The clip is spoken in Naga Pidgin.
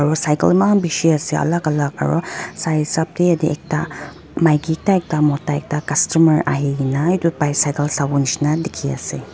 cycle Iman bisi ase alag alag aru sai sab te ekta maiki ekta Mota ekta customer ahekena etu bicycle Sabo jisna dekhe ase.